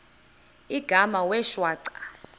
igama wee shwaca